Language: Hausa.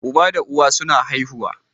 Uba da uwa suna haihuwa